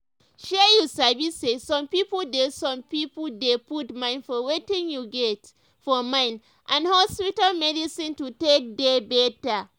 shey you sabi say some pipo dey some pipo dey put mind for wetin you get for mind and hospital medicine to take dey better.